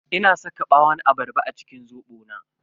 Ina saka ɓawon abarba a cikin zobo na.